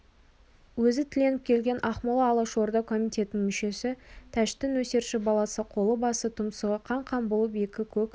өзі тіленіп келген ақмола алашорда комитетінің мүшесі тәшти нөсерші баласы қолы басы тұмсығы қан-қан болып екі көк арба